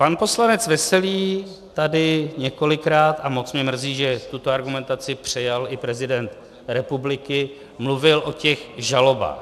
Pan poslanec Veselý tady několikrát - a moc mě mrzí, že tuto argumentaci přejal i prezident republiky - mluvil o těch žalobách.